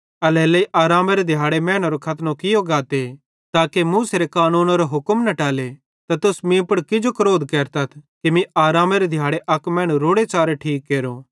एल्हेरेलेइ आरामेरे दिहाड़े मैनेरो खतनो कियो गाते ताके मूसारे कानूनेरो हुक्म न टले त तुस मीं पुड़ किजो क्रोध केरतथ कि मीं आरामेरे दिहाड़े अक मैनू रोड़ेच़ारे ठीक केरो